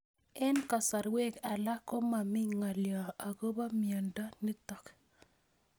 Eng'kasarwek alak ko mami ng'alyo akopo miondo notok